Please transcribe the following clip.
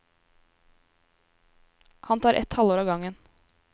Han tar et halvår ad gangen.